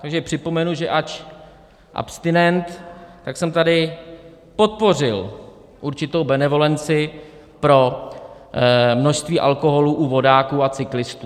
Takže připomenu, že ač abstinent, tak jsem tady podpořil určitou benevolenci pro množství alkoholu u vodáků a cyklistů.